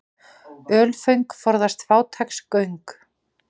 Ölföng forðast fátæks göng.